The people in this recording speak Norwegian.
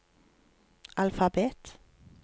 alfabet